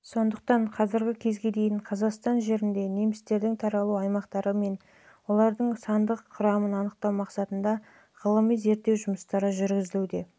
сондықтан қазіргі кезге дейін қазақстан жерінде немістердің таралу аймақтары мен олардың оның сандық құрамын анықтау мақсатындағы ғылыми зерттеу жұмыстары